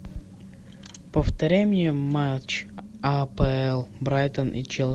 повторяй мне матч апл брайтон и